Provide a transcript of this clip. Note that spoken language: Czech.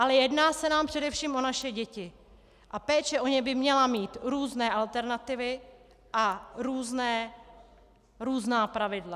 Ale jedná se nám především o naše děti a péče o ně by měla mít různé alternativy a různá pravidla.